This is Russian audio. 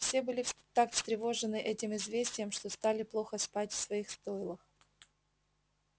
все были так встревожены этим известием что стали плохо спать в своих стойлах